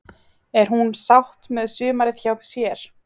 Er hún sátt með sumarið hjá sér?